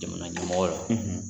Jamana ɲamɔgɔ la